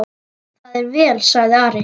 Það er vel, sagði Ari.